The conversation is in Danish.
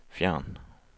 fjern